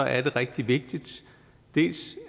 er det rigtig vigtigt